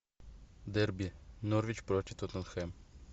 дерби норвич против тоттенхэм